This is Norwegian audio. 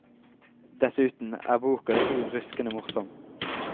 Dessuten er boka riv ruskende morsom.